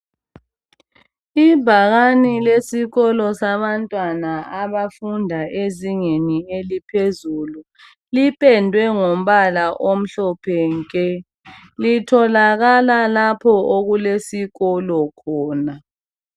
Ibhakane lesikolo sabantwana abafunda ezingeni eliphezulu lipedwe ngombala omhlophe nke litholakala lapha okulesikolo khona